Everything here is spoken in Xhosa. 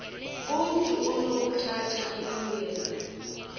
umntu onokuthatha ilungelo